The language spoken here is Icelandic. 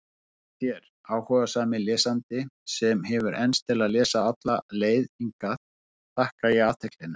Þér, áhugasami lesandi, sem hefur enst til að lesa alla leið hingað, þakka ég athyglina.